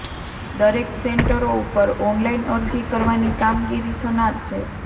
દરેક સેન્ટરો ઉપર ઓનલાઈન અરજી કરવાની કામગીરી થનાર છે